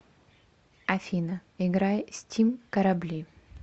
афина играй стим корабли